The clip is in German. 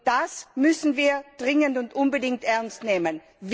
Das müssen wir dringend und unbedingt ernst nehmen.